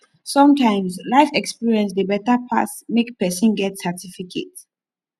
sometimes life experience dey better pass make person get certificate